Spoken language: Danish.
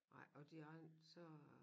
Ej og de andre så